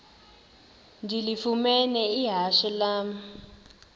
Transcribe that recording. ndilifumene ihashe lam